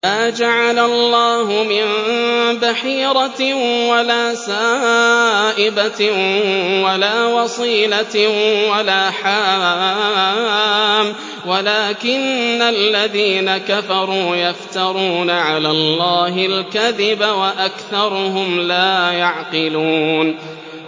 مَا جَعَلَ اللَّهُ مِن بَحِيرَةٍ وَلَا سَائِبَةٍ وَلَا وَصِيلَةٍ وَلَا حَامٍ ۙ وَلَٰكِنَّ الَّذِينَ كَفَرُوا يَفْتَرُونَ عَلَى اللَّهِ الْكَذِبَ ۖ وَأَكْثَرُهُمْ لَا يَعْقِلُونَ